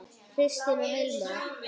Kristín og Hilmar.